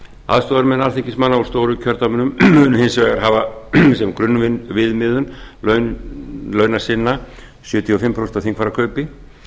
aðstoðarmenn alþingismanna úr stóru kjördæmunum munu hins vegar hafa sem grunnviðmiðun launa sinna sjötíu og fimm prósent af þingfararkaupi